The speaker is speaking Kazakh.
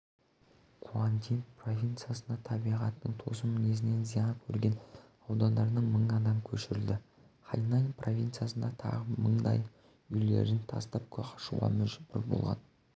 гуандин провинциясында табиғаттың тосын мінезінен зиян көрген аудандардан мың адам көшірілді хайнань провинциясында тағы мыңдайы үйлерін тастап қашуға мәжбүр болған